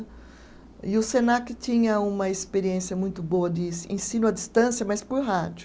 E o Senac tinha uma experiência muito boa de se ensino à distância, mas por rádio.